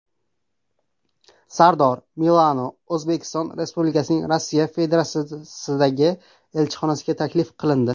Sardor Milano O‘zbekiston Respublikasining Rossiya Federatsiyasidagi elchixonasiga taklif qilindi.